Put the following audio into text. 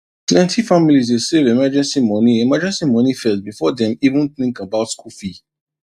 plenty families dey save emergency money emergency money first before dem even think about school fee